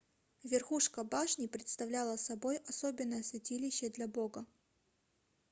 верхушка башни представляла собой особенное святилище для бога